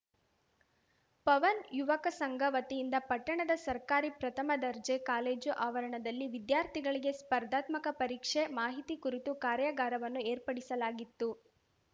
ಪವನ್‌ ಯುವಕ ಸಂಘ ವತಿಯಿಂದ ಪಟ್ಟಣದ ಸರ್ಕಾರಿ ಪ್ರಥಮ ದರ್ಜೆ ಕಾಲೇಜು ಆವರಣದಲ್ಲಿ ವಿದ್ಯಾರ್ಥಿಗಳಿಗೆ ಸ್ಪರ್ಧಾತ್ಮಕ ಪರೀಕ್ಷೆ ಮಾಹಿತಿ ಕುರಿತು ಕಾರ್ಯಾಗಾರವನ್ನು ಏರ್ಪಡಿಸಲಾಗಿತ್ತು